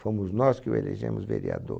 Fomos nós que o elegemos vereador.